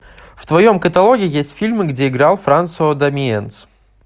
в твоем каталоге есть фильмы где играл франсуа дамиенс